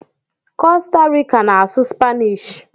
Costa rica na asụ spainish